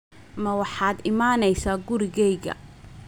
Ma waxaad imanaysaa gurigayga?